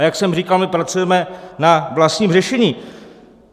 A jak jsem říkal, my pracujeme na vlastním řešení.